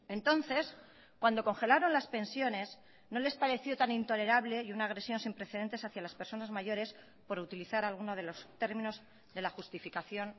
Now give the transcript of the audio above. entonces cuando congelaron las pensiones no les pareció tan intolerable y una agresión sin precedentes hacia las personas mayores por utilizar alguno de los términos de la justificación